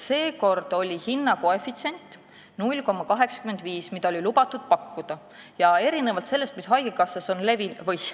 Seekord oli lubatud pakkuda hinnakoefitsienti 0,85.